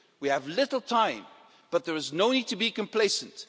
We have little time, but there is no need to be complacent.